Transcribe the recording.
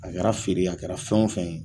A kɛra feere ye a kɛra fɛn o fɛn ye.